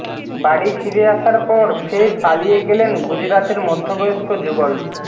বাড়ি ফিরে আসার পর ফের পালিয়ে গেলেন গুজরাতের মধ্যবয়স্ক যুগল